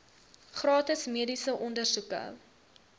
gratis mediese ondersoeke